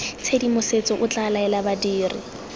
tshedimosetso o tla laela badiri